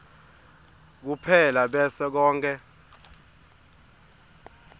kuphela bese konkhe